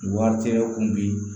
Wari tɛ kun bi